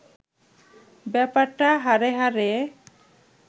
ব্যাপারটা হাড়ে হাড়ে